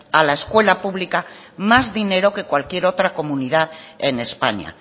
a la escuela pública más dinero que cualquier otra comunidad en españa